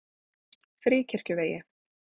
Fríkirkjuvegi